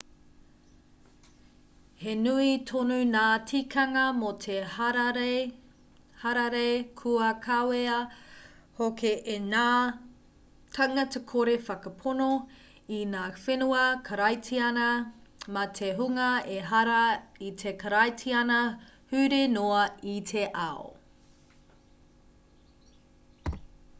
he nui tonu ngā tīkanga mō te hararei kua kawea hoki e ngā tāngata-kore-whakapono i ngā whenua karaitiana me te hunga ehara i te karaitiana huri noa i te ao